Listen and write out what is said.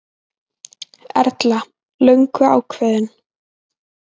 Erla: Löngu ákveðinn?